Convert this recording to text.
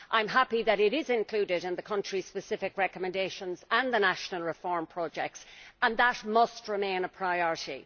I am happy that it is included in the country specific recommendations and the national reform projects and that must remain a priority.